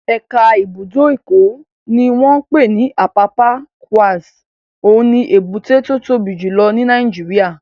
Ẹ̀ka ibùdó Èkó ní wọ́n pè ní Apapa Quays, òun ni èbúté tó tóbi jù lọ ní Nàìjíríyà